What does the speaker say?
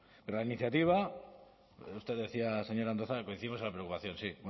pero la iniciativa usted decía señor andueza coincidimos en la preocupación sí